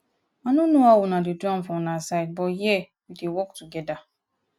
i no know how una dey do am for una side but here we dey work together